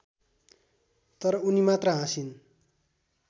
तर उनी मात्र हाँसिन्